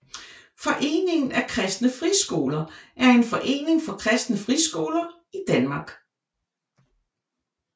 Foreningen af Kristne Friskoler er en forening for kristne friskoler i Danmark